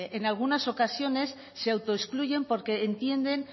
en algunas ocasiones se autoexcluyen porque entienden